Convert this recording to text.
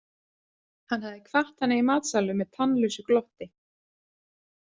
Hann hafði kvatt hana í matsalnum með tannlausu glotti.